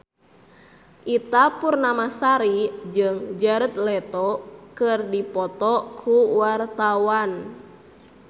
Ita Purnamasari jeung Jared Leto keur dipoto ku wartawan